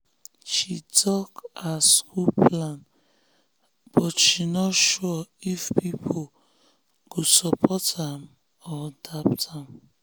she talk her school plan but she no sure if people go support am or doubt am.